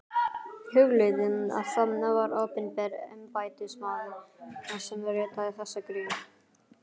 Hugleiðið að það var opinber embættismaður sem ritaði þessa grein.